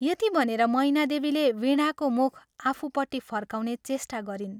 यति भनेर मैनादेवीले वीणाको मुख आफूपट्टि फर्काउने चेष्टा गरिन्।